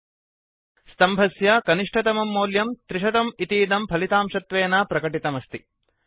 सम्भस्य कोलम् मध्ये कनिष्टतमं मौल्यं 300 इतीदं फलितांशत्वेन प्रकटितमस्ति